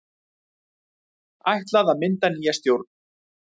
Ætlað að mynda nýja stjórn